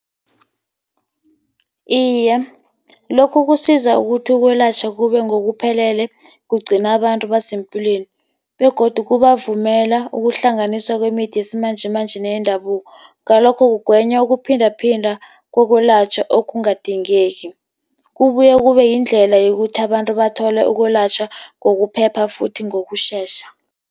Iye, lokhu kusiza ukuthi ukwelatjhwa kube ngokuphelele, kugcina abantu basepilweni, begodu kubavumela ukuhlanganiswa kwemithi yesimanjemanje neyendabuko. Ngalokho, kugwenywa wokuphindaphinda kokulatjhwa okungadingeki. Kubuye kube yindlela yokuthi abantu bathole ukulatjhwa ngokuphepha futhi ngokutjhetjha.